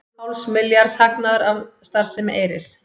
Hálfs milljarðs hagnaður af starfsemi Eyris